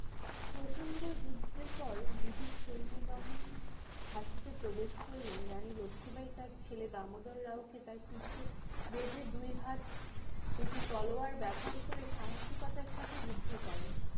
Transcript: প্রযন্ড যুদ্ধের পর british সৈন্য বাহিনী ঝাঁসিতে প্রবেশ করলে রানী লক্ষীবাঈ তার ছেলে দামোদর রাও কে তার পিঠে বেঁধে দুই হাত দুটি তলোয়ার বাবহার করে সাহসিকতার সাথে যুদ্ধ করেন।